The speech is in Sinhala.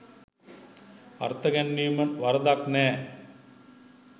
අර්ථ ගැන්වීම වරදක් නැහැ.